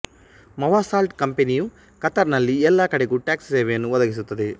ಮೌವಸಾಲ್ಟ್ ಕಂಪನಿಯು ಕತಾರ್ ನಲ್ಲಿ ಎಲ್ಲಾ ಕಡೆಗೂ ಟ್ಯಾಕ್ಸಿ ಸೇವೆಯನ್ನು ಒದಗಿಸುತ್ತದೆ